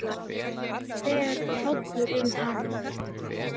Það fer hrollur um hann.